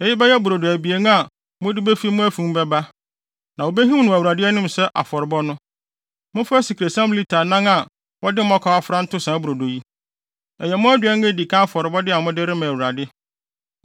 Eyi bɛyɛ brodo abien a mode befi mo afi mu bɛba. Na wobehim no wɔ Awurade anim sɛ afɔrebɔ no. Momfa asikresiam lita anan a wɔde mmɔkaw afra nto saa brodo yi. Ɛyɛ mo aduan a edi kan afɔrebɔde a mode rema Awurade.